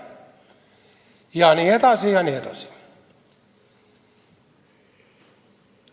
Jne, jne.